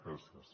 gràcies